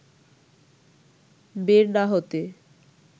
বের না হতে